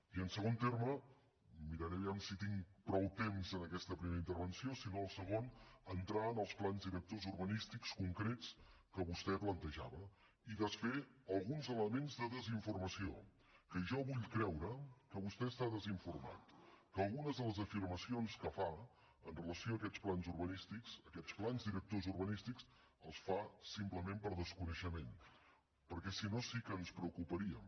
i en segon terme miraré a veure si tinc prou temps en aquesta primera intervenció si no a la segona entrar en els plans directors urbanístics concrets que vostè plantejava i desfer alguns elements de desinformació que jo vull creure que vostè està desinformat que algunes de les afirmacions que fa en relació amb aquests plans urbanístics aquests plans directors urbanístics les fa simplement per desconeixement perquè si no sí que ens preocuparíem